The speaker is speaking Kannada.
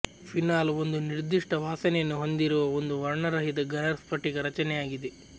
ಫೀನಾಲ್ ಒಂದು ನಿರ್ದಿಷ್ಟ ವಾಸನೆಯನ್ನು ಹೊಂದಿರುವ ಒಂದು ವರ್ಣರಹಿತ ಘನ ಸ್ಫಟಿಕ ರಚನೆಯಾಗಿದೆ